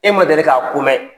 E ma deli k'a ko mɛ